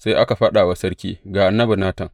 Sai aka faɗa wa sarki, Ga annabi Natan.